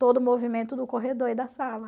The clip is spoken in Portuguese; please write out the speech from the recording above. todo o movimento do corredor e da sala.